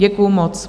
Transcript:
Děkuju moc.